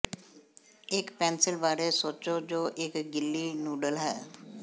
ਇੱਕ ਪੈਨਸਿਲ ਬਾਰੇ ਸੋਚੋ ਜੋ ਇੱਕ ਗਿੱਲੀ ਨੁਡਲ ਹੈ